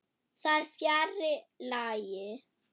Það er fjarri lagi.